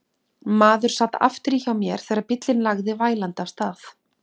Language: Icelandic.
Maður sat aftur í hjá mér þegar bíllinn lagði vælandi af stað.